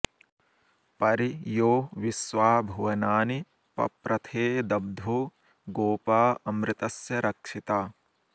परि॒ यो विश्वा॒ भुव॑नानि पप्र॒थेऽद॑ब्धो गो॒पा अ॒मृत॑स्य रक्षि॒ता